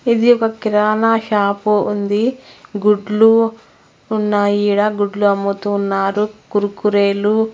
ఇది ఒక కిరాణా షాపు ఉంది. గుడ్లు ఉన్నాయి ఈడ. గుడ్లు అమ్ముతూ ఉన్నారు. కుర్కూరేలు--